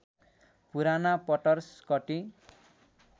पुराना पटर स्कटि